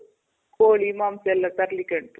ಕೋಳಿ, ಮಾಂಸ ಎಲ್ಲ ತರಲಿಕ್ ಹೇಳೋದು.